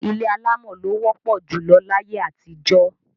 Ilé alámọ̀ ló wọ́pọ̀ júlọ láyé àtijọ́.